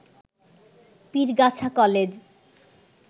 Pirgachha college